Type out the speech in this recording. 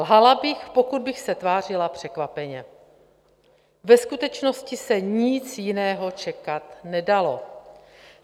Lhala bych, pokud bych se tvářila překvapeně, ve skutečnosti se nic jiného čekat nedalo.